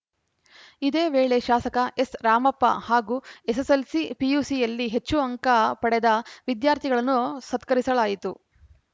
ಇದೇ ವೇಳೆ ಶಾಸಕ ಎಸ್‌ರಾಮಪ್ಪ ಹಾಗೂ ಎಸ್‌ಎಸ್‌ಎಲ್‌ಸಿ ಪಿಯುಸಿಯಲ್ಲಿ ಹೆಚ್ಚು ಅಂಕ ಪಡೆದ ವಿದ್ಯಾರ್ಥಿಗಳನ್ನು ಸತ್ಕರಿಸಲಾಯಿತು